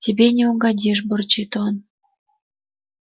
тебе не угодишь бурчит он